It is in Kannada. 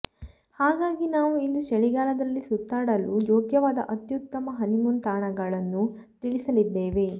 ಹಾಗಾಗಿ ನಾವು ಇಂದು ಚಳಿಗಾಲದಲ್ಲಿ ಸುತ್ತಾಡಲು ಯೋಗ್ಯವಾದ ಅತ್ಯುತ್ತಮ ಹನಿಮೂನ್ ತಾಣಗಳನ್ನು ತಿಳಿಸಲಿದ್ದೇವೆ